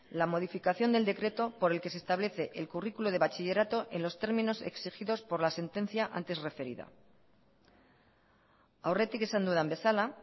la modificación del decreto por el que se establece el currículo de bachillerato en los términos exigidos por la sentencia antes referida aurretik esan dudan bezala